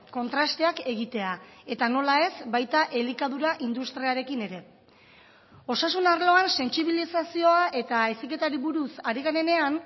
kontrasteak egitea eta nola ez baita elikadura industriarekin ere osasun arloan sentsibilizazioa eta heziketari buruz ari garenean